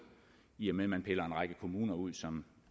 i og med man piller en række kommuner ud som